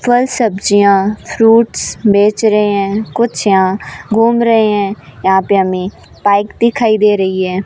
फल सब्जियां फ्रूट्स बेच रहे हैं कुछ यहां घूम रहे हैं यहां पे हमें बाइक दिखाई दे रही है।